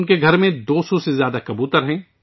ان کے گھر میں 200 سے زیادہ کبوتر ہیں